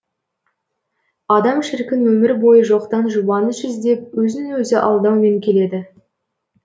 адам шіркін өмір бойы жоқтан жұбаныш іздеп өзін өзі алдаумен келеді